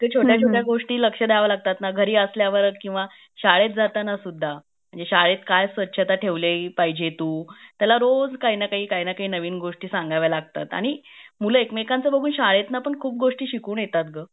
छोट्या छोट्या गोष्टी लक्ष दयाव लागतात ना घरी असल्यावर किंवा शाळेत जाताना सुद्धा शाळेत काय स्वच्छता ठेवली पाहिजे तू. त्याला रोज काही ंना काही नवीन गोष्टी सांगव्या लागतात आणि मूल एक मेकांचा बघून पण शाळेतना पण खूप गोष्टी शिकून येतात ग